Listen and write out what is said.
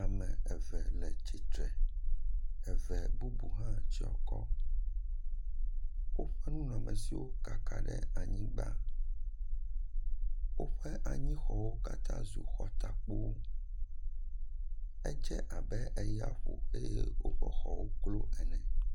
Ame eve le tsitre, eve bubu hã tsyɔ akɔ, woƒe nunɔmesiwo kaka ɖe anyigba, woƒe anyixɔwo katã zu xɔtakpowo. Edze abe eya ƒo eye woƒe xɔwo klo ene.